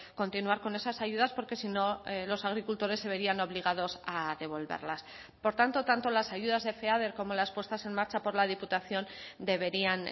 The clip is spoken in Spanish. continuar con esas ayudas porque si no los agricultores se verían obligados a devolverlas por tanto tanto las ayudas de feader como las puestas en marcha por la diputación deberían